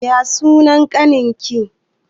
Ya sunan ƙanin ki?